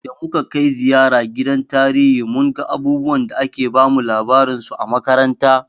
Da muka kai ziyara gidan tarihi mun ga abubuwan da ake bamu labarin su a makaranta.